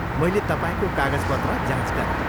मैले तपाईँको कागजपत्र जाँच गरेँ।